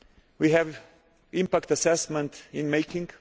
We have impact assessments in the making.